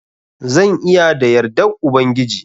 Zan iya da yardan Ubangiji.